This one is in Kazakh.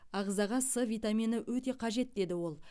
ағзаға с витамині өте қажет деді ол